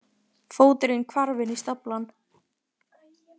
Fóturinn hvarf inn í staflann.